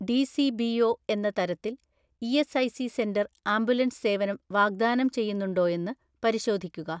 DCBO എന്ന തരത്തിൽ ESIC centre ambulance സേവനം വാഗ്ദാനം ചെയ്യുന്നുണ്ടോയെന്ന് പരിശോധിക്കുക.